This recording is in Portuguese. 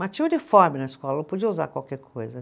Mas tinha uniforme na escola, podia usar qualquer coisa.